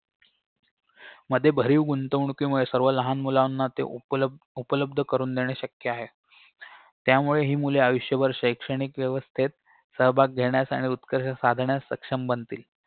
मध्ये बाहीव गुंतवणुकीमुळे सर्व लहान मुलांना ते उपलब्द उपलब्ध करून देणे शक्य आहे त्यामुळे हि मुले आयुष्यभर शैक्षणिक व्यवस्थेत सहभाग घेण्यास आणि उत्कर्ष साधण्यास सक्षम बनतील